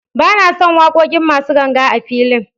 Ba na son waƙoƙin masu ganga a filin.